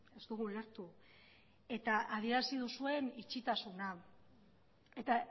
ez dugu ulertu eta adierazi duzuen itxitasuna eta